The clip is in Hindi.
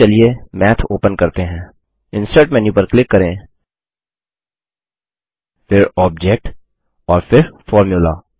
अब चलिए मैथ ओपन करते हैं इंसर्ट मेन्यू पर क्लिक करें फिर ऑब्जेक्ट और फिर फॉर्मुला